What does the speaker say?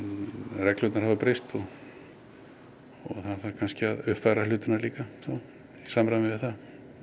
reglurnar hafa breyst og það þarf kannski að uppfæra hlutina líka í samræmi við það